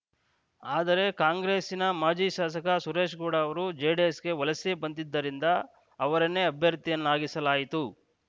ಆದರೆ ಕಾಂಗ್ರೆಸ್ಸಿನ ಮಾಜಿ ಶಾಸಕ ಸುರೇಶ್‌ಗೌಡ ಅವರು ಜೆಡಿಎಸ್‌ಗೆ ವಲಸೆ ಬಂದಿದ್ದರಿಂದ ಅವರನ್ನೇ ಅಭ್ಯರ್ಥಿಯನ್ನಾಗಿಸಲಾಯಿತು